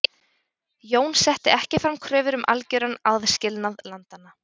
Jón setti ekki fram kröfur um algjöran aðskilnað landanna.